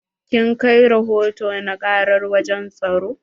Kin kai rahoto na karar wajen tsaro?